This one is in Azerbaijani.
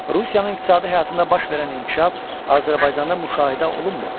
Rusiyanın iqtisadi həyatında baş verən inkişaf Azərbaycanda müşahidə olunmurdu.